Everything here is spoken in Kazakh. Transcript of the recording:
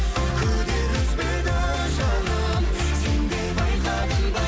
күдер үзбейді жаным сен де байқадың ба